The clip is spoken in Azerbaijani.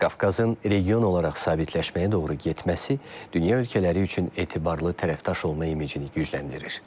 Qafqazın region olaraq sabitləşməyə doğru getməsi dünya ölkələri üçün etibarlı tərəfdaş olma imicini gücləndirir.